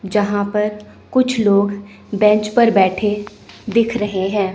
जहां पर कुछ लोग बेंच पर बैठे दिख रहे हैं।